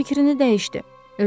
Lakin fikrini dəyişdi.